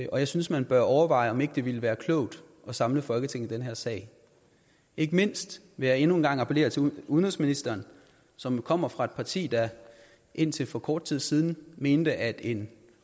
og jeg synes man bør overveje om det ikke ville være klogt at samle folketinget i den her sag ikke mindst vil jeg endnu en gang appellere til udenrigsministeren som kommer fra et parti der indtil for kort tid siden mente at en